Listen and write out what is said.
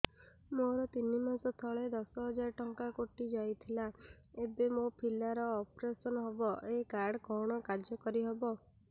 ମୋର ତିନି ମାସ ତଳେ ଦଶ ହଜାର ଟଙ୍କା କଟି ଯାଇଥିଲା ଏବେ ମୋ ପିଲା ର ଅପେରସନ ହବ ଏ କାର୍ଡ କଣ କାର୍ଯ୍ୟ କାରି ହବ